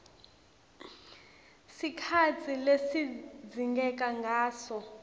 sikhatsi lesidzingeka ngaso